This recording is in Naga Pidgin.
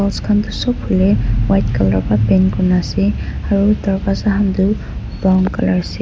khan toh sop hoilae white colour pa paint kurina ase aru darvaza khan toh brown colour ase.